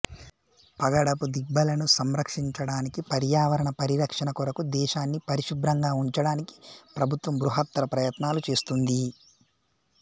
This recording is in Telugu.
పగడపు దిబ్బలను సంరక్షించడానికి పర్యావరణ పరిరక్షణ కొరకు దేశాన్ని పరిశుభ్రంగా ఉంచడానికి ప్రభుత్వం బృహత్తర ప్రయత్నాలు చేస్తుంది